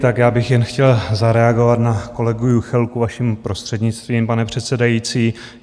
Tak já bych jen chtěl zareagovat na kolegu Juchelku, vaším prostřednictvím, pane předsedající.